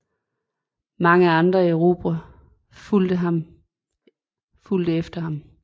Mange andre erobrere fulgte efter ham